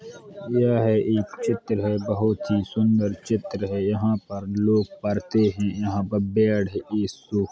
यह एक चित्र है बहोत ही सुन्दर चित्र है। यहाँ पर लोग पढ़ते है। यहाँ पर --